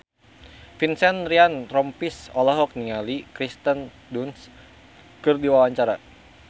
Vincent Ryan Rompies olohok ningali Kirsten Dunst keur diwawancara